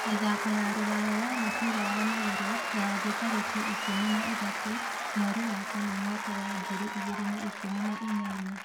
Mĩthako ya Rũraya ya mũbira wa magũrũ ya thĩ tarĩki ikũmi na ithatũ mweri ya kana mwaka wa ngiri igĩrĩ na ikũmi na inyanya